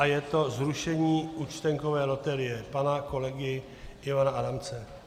A je to zrušení účtenkové loterie pana kolegy Ivana Adamce.